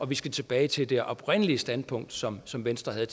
vi skal tilbage til det oprindelige standpunkt som som venstre havde